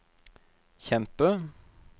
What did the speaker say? kjempe